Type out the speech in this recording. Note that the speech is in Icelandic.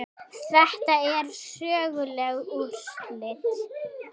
Þetta eru söguleg úrslit.